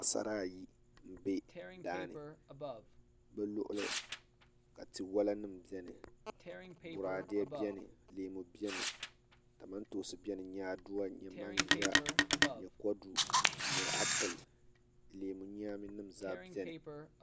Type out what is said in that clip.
Paɣasara ayi n bɛ daa ni bi luɣuli ka tia wola nim biɛni boraadɛ biɛni leemu biɛni kamantoosi biɛni nyaaduwa n nyɛ manʒa n nyɛ apili leemu nyaami nim zaa biɛni